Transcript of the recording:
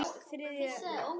Það er hagur allra.